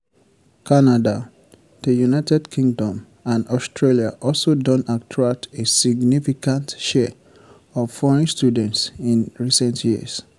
canada di united kingdom and australia also don attract a significant share of foreign students in recent years.